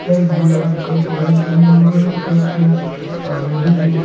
बैगनी रंग का पेण्ट भी हुआ है कुछ लोग आईने दिख --